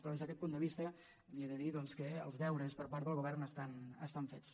però des d’aquest punt de vista li he de dir doncs que els deures per part del govern estan fets